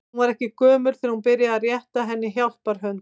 Hún var ekki gömul þegar hún byrjaði að rétta henni hjálparhönd.